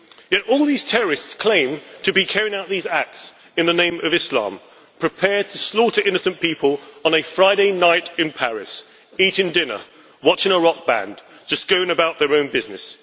Yet all these terrorists claim to be carrying out these acts in the name of Islam, and are prepared to slaughter innocent people on a Friday night in Paris people eating dinner, watching a rock band, just going about their own business.